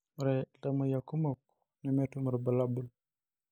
Ore iltamoyiak kumok nemetum irbulabol.